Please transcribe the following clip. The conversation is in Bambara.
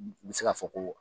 U u bɛ se k'a fɔ ko